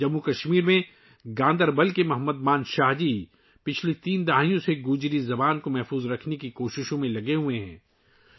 جموں و کشمیر کے گاندربل کے محمد منشا جی گزشتہ تین دہائیوں سے گوجری زبان کو بچانے کی کوششوں میں مصروف ہیں